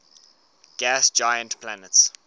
gas giant planets